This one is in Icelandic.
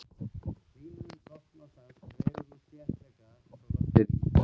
Hlýnun loftmassans dregur úr þéttleikanum svo loftið rís.